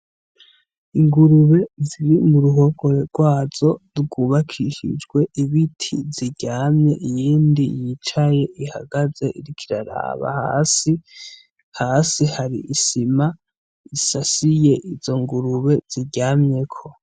Ingurube ziri mu ruhongore gwazo rwubakishijwe ibiti ziryamye, iyindi yicaye ihagaze iriko iraraba hasi; hasi hari isima isasiye izo ngurube ziryamyeko.